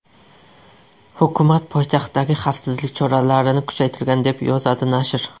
Hukumat poytaxtdagi xavfsizlik choralarini kuchaytirgan, deb yozadi nashr.